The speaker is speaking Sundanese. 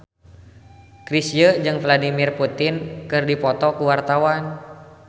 Chrisye jeung Vladimir Putin keur dipoto ku wartawan